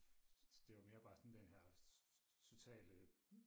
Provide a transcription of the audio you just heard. det var mere bare sådan den her totale